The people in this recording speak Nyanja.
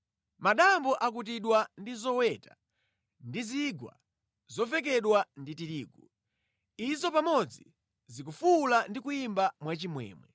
Madambo akutidwa ndi zoweta ndi zigwa zavekedwa ndi tirigu; izo pamodzi zikufuwula ndi kuyimba mwachimwemwe.